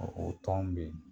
O o tɔn bɛ yen.